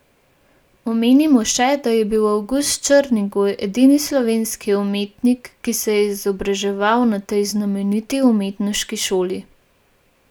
Omenimo še, da je bil Avgust Černigoj edini slovenski umetnik, ki se je izobraževal na tej znameniti umetniški šoli.